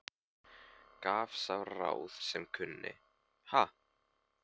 Gaf sá ráð sem kunni, ha!